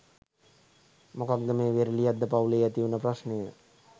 මොකක්ද මේ වේරලියද්ද පවු‍ලේ ඇති වුණ ප්‍රශ්නය?